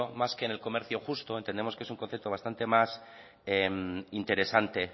más que en el comercio justo entendemos que es un concepto bastante más interesante